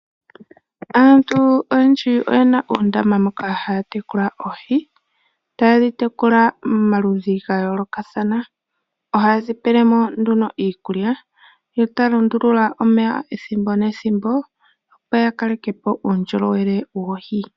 Aantu oyendji oye na uundama moka haa tekula oohi, ta ye dhi tekula momaludhi ga yoolokathana . Oha ye dhi pele mo nduno iikukya, yo ta ya lundulula omeya ethimbo, nethimbo, opo ya kaleke po uundjolowele wohi..